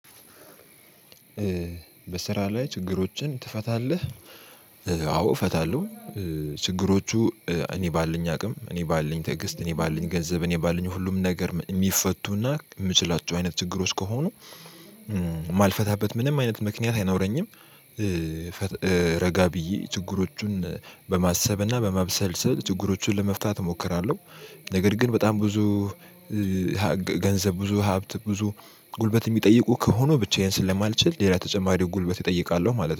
በስራ ላይ ችግሮችን ትፈታለህ አዎ እፈታለሁ ችግሮቹ እኔ ባለኝ አቅም እኔ ባለኝ ትዕግስት እኔ ባለኝ ገንዘብ እኔ ባለኝ ሁሉም ነገር ሚፈቱና ምችላቸው አይነት ችግሮች ከሆኑ ማልፈታበት ምንም አይነት ምክንያት አይኖረኝም። ረጋ ብዬ ችግሮቹን በማሰብ እና በማብሰልሰል ችግሮቹን ለመፍታት እሞክራለሁ። ነገር ግን በጣም ብዙ ገንዘብ ብዙ ሀብት ብዙ ጉልበት ሚጠይቁ ከሆነ ብቻዬን ስለማልችል ሌላ ተጨማሪ ጉልበት እጠይቃለሁ ማለት ነው።